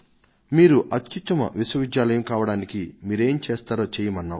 మీరు అత్యుత్తమ విశ్వవిద్యాలయం కావడానికి మీరేం చేస్తారో చెయ్యమన్నాం